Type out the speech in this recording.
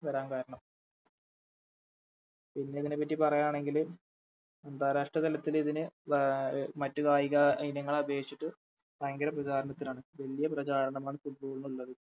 വരാൻ കാരണം പിന്നെതിനെപ്പറ്റി പറയാണെങ്കില് അന്താരാഷ്രതലത്തിനിതിന് വ മറ്റു കായിക ഇനങ്ങളെ അപേക്ഷിച്ചിട്ട് ഭയങ്കര പ്രചാരണത്തിലാണ് വല്യ പ്രചാരണമാണ് Football ന് ഉള്ളത്